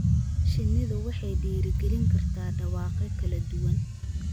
Shinnidu waxay dhiirigelin kartaa dhawaaqyo kala duwan.